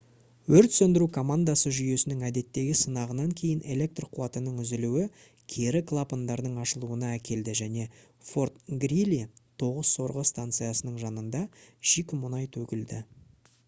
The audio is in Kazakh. өрт сөндіру командасы жүйесінің әдеттегі сынағынан кейін электр қуатының үзілуі кері клапандардың ашылуына әкелді және fort greely 9 сорғы станциясының жанында шикі мұнай төгілді